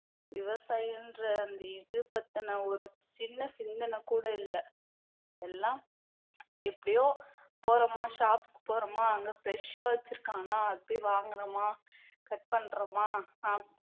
விவசாயம்ன்ற அந்த இது பத்தின ஒரு சின்ன சிந்தனை கூட இல்லை எல்லாம் எப்படியோ போறோமா shop க்கு போறோமா அங்க fresh ஆ வச்சிருக்கானா அது போய் வாங்குனோமா cut பண்றோமா ஆஹ்